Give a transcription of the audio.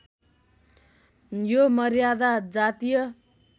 यो मर्यादा जातीय